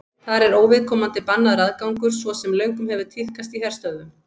þar er óviðkomandi bannaður aðgangur svo sem löngum hefur tíðkast í herstöðvum